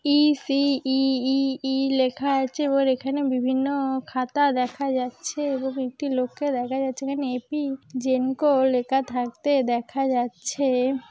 ই_সি E E E লেখা আছে ওর এখানে বিভিন্ন-ও খাতা দেখা যাচ্ছে এবং একটি লোককে দেখা যাচ্ছে এখানে এ.প জেনকো-ও লেখা থাকতে দেখা যাচ্ছে।